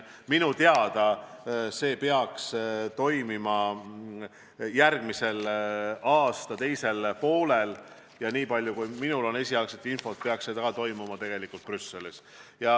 Minu teada peaks see kohtumine toimuma järgmise aasta teisel poolel ja niipalju, kui minul on esialgset infot, peaks see toimuma Brüsselis.